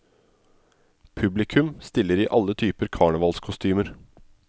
Publikum stiller i alle typer karnevalskostymer.